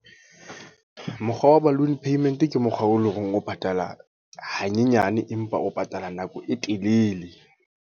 Mokgwa wa balloon payment ke mokgwa o leng hore, o patala ha nyenyane. Empa o patala nako e telele.